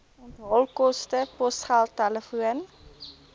onthaalkoste posgeld telefoon